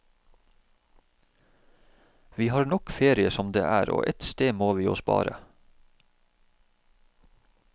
Vi har nok ferie som det er, og ett sted må vi jo spare.